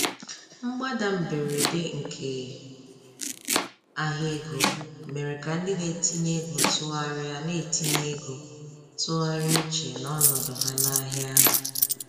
Mgbada mberede nke ahịa ego mere ka ndị na-etinye ego tụgharịa na-etinye ego tụgharịa uche na ọnọdụ ha n'ahịa ahụ.